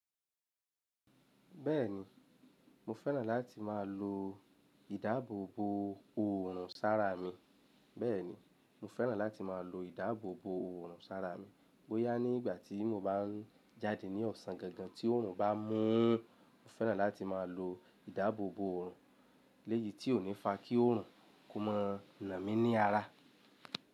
Bẹ́ẹ̀ni, mo fẹ́ràn láti má a lo ìdáàbòbo òorùn sára mi. Bẹ́ẹ̀ni, mo fẹ́ràn láti má a lo ìdáàbòbo òrùn sára mi. Bóyá ní ìgbà tí mo bá jáde ní ọ̀sán gangan tí òòrùn bá mú, mo fẹ́ràn láti máa lo ìdáàbòbò òòrùn léyi tí ò ní fa kí òòrùn kó mọ́ nà mí ní ara.